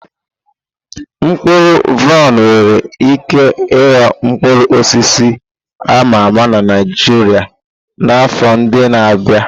Mkpụrụ vaịn nwere ike ịghọ mkpụrụ osisi a ma ama na Naijiria n'afọ ndị na-abịa.